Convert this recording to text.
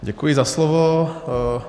Děkuji za slovo.